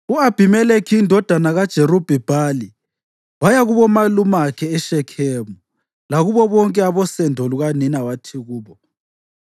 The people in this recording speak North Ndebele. U-Abhimelekhi indodana kaJerubhi-Bhali waya kubomalumakhe eShekhemu lakubo bonke abosendo lukanina wathi kubo,